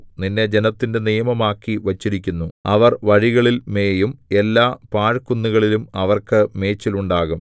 നിന്നെ ജനത്തിന്റെ നിയമമാക്കി വച്ചിരിക്കുന്നു അവർ വഴികളിൽ മേയും എല്ലാ പാഴ്കുന്നുകളിലും അവർക്ക് മേച്ചിലുണ്ടാകും